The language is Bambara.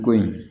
Ko in